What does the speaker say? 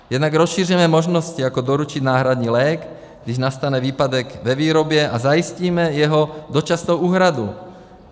Jednak rozšířené možnosti, jako doručit náhradní lék, když nastane výpadek ve výrobě, a zajistíme jeho dočasnou úhradu.